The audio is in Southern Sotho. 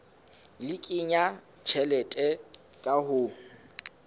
le kenya tjhelete ka ho